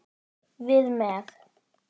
Við með.